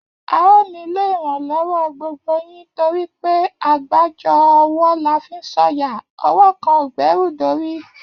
A óò nílò iranlowo gbogbo yín torí pé àgbájọ ọwọ́ la fi ń sọ̀yà, ọwọ́ kan ò gbẹ́rù dórí